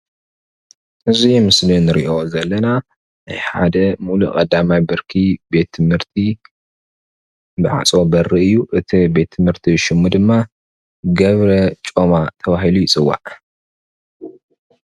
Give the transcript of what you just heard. እዚ ምስሊ እንሪኦ ዘለና ናይ ሓደ ሙሉእ ቀዳማይ ብርኪ ቤት ትምህርቲ ማዕፆ በሪ እዩ፣ እቲ ቤት ትምህርቲ ሽሙ ድማ ገብረ ጮማ ተባሂሉ ይፅዋዕ፡፡